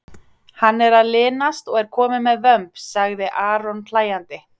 Hann er að linast og er kominn með vömb, sagði Aron hlægjandi.